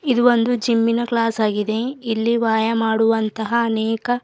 ಇದು ಒಂದು ಜಿಮ್ ಇನ ಕ್ಲಾಸ್ ಆಗಿದೆ ಇಲ್ಲಿ ವಾಯ ಮಾಡುವಂತಹ ಅನೇಕ--